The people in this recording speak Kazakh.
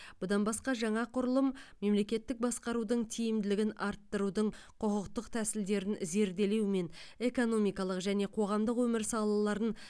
бұдан басқа жаңа құрылым мемлекеттік басқарудың тиімділігін арттырудың құқықтық тәсілдерін зерделеумен экономикалық және қоғамдық өмір салаларын